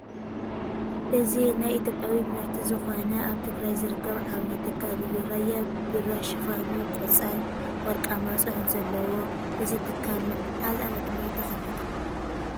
እዚ ናይ ኢይዮጵያ ምርት ዝኮነ ኣብ ትግራይ ዝርከብ ዓብይ ትካል እዩ ። ራያ ቢራ ሽፋኑ ቆፃል፣ ወርቃማን ፅሑፍ ዘለዎ እዚ ትካል መዓዝ ዓ/ም ተከፊቱ ?